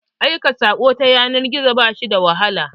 Aika saƙo ta yanar gizo ba shi da wahala.